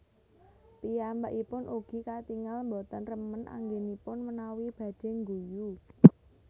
Piyambakipun ugi katingal boten remen anggenipun menawi badhe ngguyu